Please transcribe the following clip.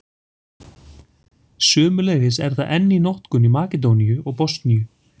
Sömuleiðis er það enn í notkun í Makedóníu og Bosníu.